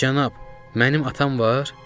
Cənab, mənim atam var?